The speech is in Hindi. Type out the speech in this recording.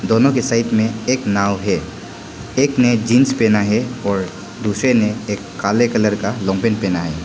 दोनों के साइड में एक नाव है एक ने जींस पहना है और दूसरे ने एक काले कलर का पहना है।